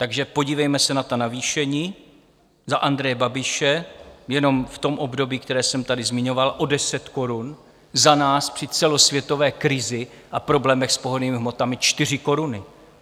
Takže podívejme se na ta navýšení za Andreje Babiše - jenom v tom období, které jsem tady zmiňoval, o 10 korun, za nás při celosvětové krizi a problémech s pohonnými hmotami 4 koruny.